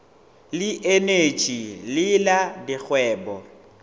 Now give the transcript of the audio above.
le eneji le la dikgwebo